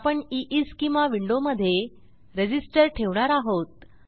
आपण ईस्केमा विंडोमधे रेझिस्टर ठेवणार आहोत